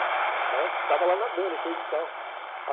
Estava lá nadando e coisa e tal.